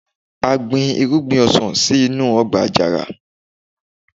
a gbin irúgbìn ọsàn sí inú ọgbà àjàrà